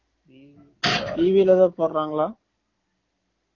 TV ல எதாவது போடுறாங்களா